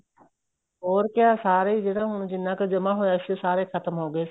ਹੋਰ ਕਿਆ ਸਾਰੇ ਜਿਹੜਾ ਹੁਣ ਜਿੰਨਾ ਕ਼ ਜਮਾਂ ਹੋਇਆ ਸੀ ਉਹ ਸਾਰੇ ਖ਼ਤਮ ਹੋ ਗਏ ਸੀ